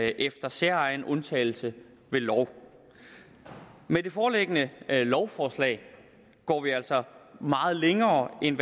efter særegen undtagelse ved lov med det foreliggende lovforslag går vi altså meget længere end